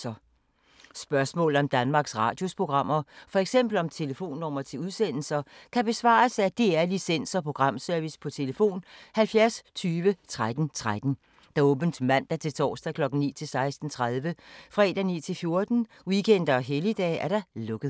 Spørgsmål om Danmarks Radios programmer, f.eks. om telefonnumre til udsendelser, kan besvares af DR Licens- og Programservice: tlf. 70 20 13 13, åbent mandag-torsdag 9.00-16.30, fredag 9.00-14.00, weekender og helligdage: lukket.